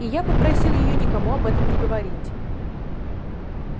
и я попросил её никому об этом не говорить